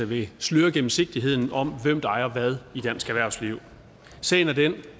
vil sløre gennemsigtigheden om hvem der ejer hvad i dansk erhvervsliv sagen er den